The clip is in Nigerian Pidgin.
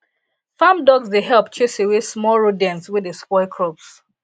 farm dogs dey help chase away small rodents wey dey spoil crops